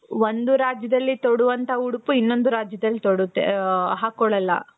ಒಂದು ರಾಜ್ಯದಲ್ಲಿ ತೊಡುವಂತ ಉಡುಪು ಇನ್ನೊಂದು ರಾಜ್ಯದಲ್ಲಿ ತೊಡುತ್ತೆ ಅ ಹಾಕೊಳಲ್ಲ